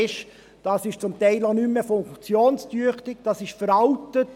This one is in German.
Dies ist zum Teil auch nicht mehr funktionstüchtig, es ist veraltet.